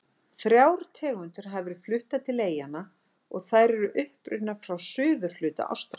Þrjár tegundir hafa verið fluttar til eyjanna en þær eru upprunnar frá suðurhluta Ástralíu.